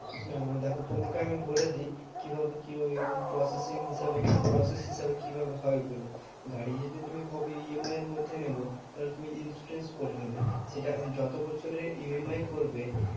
নানা দেখো তোমাকে আমি বলে দিই কিভাবে কি ওই processing হিসাবে process হিসাবে কিভাবে হয় ওগুলো? গাড়ি যদি তুমি ভাবো EMI এর মধ্যে নেবো তাহলে তুমি insurance করে নেবে। সেটা যত বছরের EMI করবে,